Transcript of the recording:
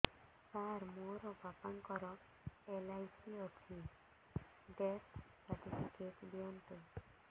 ସାର ମୋର ବାପା ଙ୍କର ଏଲ.ଆଇ.ସି ଅଛି ଡେଥ ସର୍ଟିଫିକେଟ ଦିଅନ୍ତୁ